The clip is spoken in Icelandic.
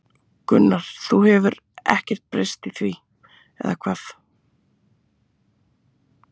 Gunnar: Það hefur ekkert breyst í því, eða hvað?